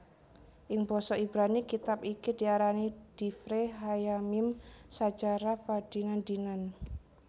Ing basa Ibrani kitab iki diarani divre hayyamim sajarah padinan dinan